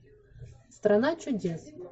страна чудес